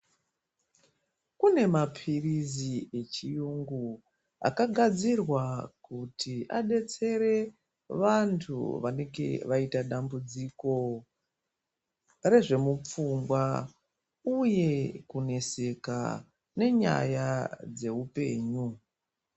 Kune mapirizi echirungu akagadzirwa kuti abetsere vantu vanenge vaita dambudziko rezvemupfungwa uye kuneseka nenyaya dzehupenyu.